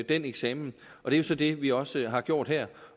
den eksamen det er så det vi også har gjort her